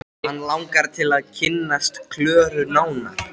LÁRUS: Mikið er ég feginn að heyra yður segja þetta.